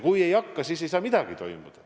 Kui ei hakka, siis ei saa midagi toimuda.